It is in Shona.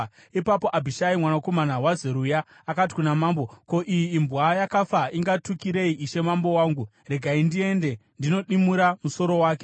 Ipapo Abhishai mwanakomana waZeruya akati kuna mambo, “Ko, iyi imbwa yakafa ingatukirei ishe mambo wangu? Regai ndiende ndinodimura musoro wake.”